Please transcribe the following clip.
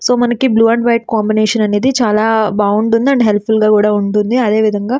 So మనకి blue and white combination అనేది చాలా బాగుంటుంది. అండ్ హెల్ప్ ఫుల్ గా కూడా ఉంటుంది. అదేవిధంగా --